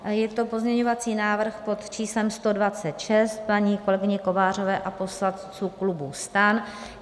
Je to pozměňovací návrh pod číslem 126 paní kolegyně Kovářové a poslanců klubu STAN.